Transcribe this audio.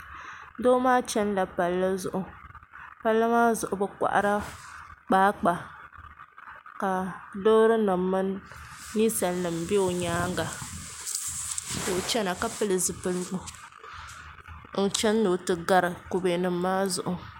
Doo maa chɛnila palli zuɣu palli maa zuɣu bi koharila kpaakpa ka loori nim mini ninsal nim bɛ o nyaanga ka o chɛna ka pili zipiligu n chɛni ni o ti gari kubɛ nim maa zuɣu